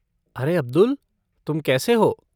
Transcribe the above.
अरे अब्दुल, तुम कैसे हो?